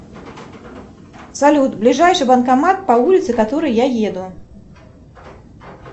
салют ближайший банкомат по улице которой я еду